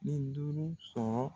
Ni duuru sɔrɔ